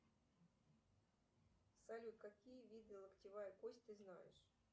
салют какие виды локтевая кость ты знаешь